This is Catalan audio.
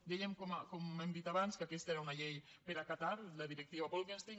dèiem com hem dit abans que aquesta era una llei per acatar la directiva bolkestein